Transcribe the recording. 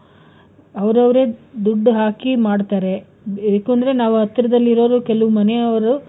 ಆವರವ್ರೆ ದುಡ್ಡು ಹಾಕಿ ಮಾಡ್ತಾರೆ. ಬೇಕು ಅಂದ್ರೆ ನಾವು ಹತ್ರ ದಲ್ಲಿರೋರ್ ಕೆಲವ್ ಮನೆಯವ್ರು,